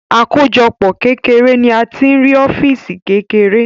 Àkójọpọ̀ kékeré ni a tí ń rí ọ́físì kékeré